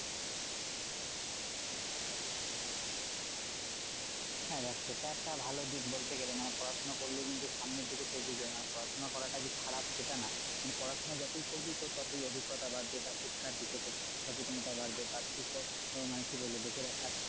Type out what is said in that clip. হ্যাঁ দেখ সেটা একটা ভালো দিক বলতে গেলে মানে পড়াশোনা করলে কিন্তু সামনের দিকে তো এগিয়ে যাবে মানে পড়াশোনা করাটা যে খারাপ সেটা না মানে পড়াশোনা যতই করবি তোর ততই অভিজ্ঞতা বাড়বে বা শিক্ষার দিকে তোর সচেতনতা বাড়বে বা তুই মানে কি বলবো দেশের একটা,